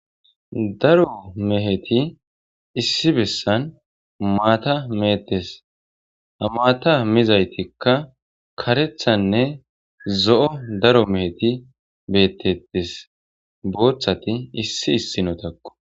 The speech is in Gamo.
Daro meheti issi bessan maata mehetes hamaata mizaytikka karethanne zo'o daro meheti beettettes booththati issi issinotakko.